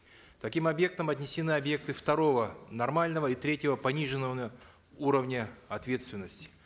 к таким объектам отнесены объекты второго нормального и третьего пониженного уровня ответственности